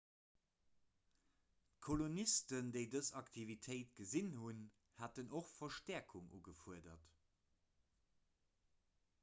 d'kolonisten déi dës aktivitéit gesinn hunn haten och verstäerkung ugefuerdert